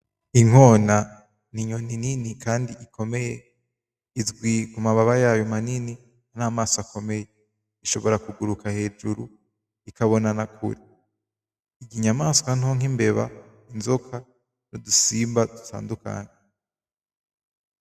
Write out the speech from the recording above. Inkona n'inyoni nini kandi ikomeye izwi kumababa yayo manini n’amasomo akomeye, ishobora kuguruka hejuru ikabona nakure inyamaswa nto nk'imbeba, inzoka n'udusimba dutandukanye.